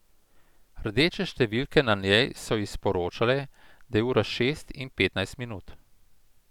Rdeče številke na njej so ji sporočale, da je ura šest in petnajst minut.